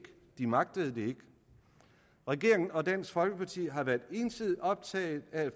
de magtede det ikke regeringen og dansk folkeparti har været ensidigt optaget af